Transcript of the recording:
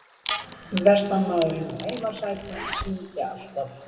Vestanmaðurinn og heimasætan syngja alltaf.